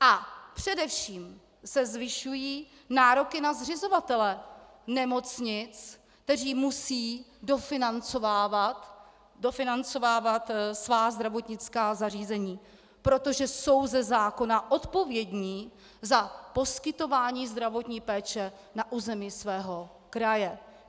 A především se zvyšují nároky na zřizovatele nemocnic, kteří musí dofinancovávat svá zdravotnická zařízení, protože jsou ze zákona odpovědní za poskytování zdravotní péče na území svého kraje.